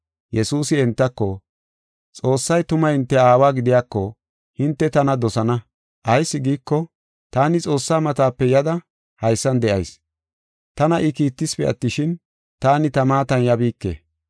Yesuusi entako, “Xoossay tuma hinte aawa gidiyako hinte tana dosana; ayis giiko, taani Xoossaa matape yada haysan de7ayis. Tana I kiittisipe attishin, taani ta maatan yabiike.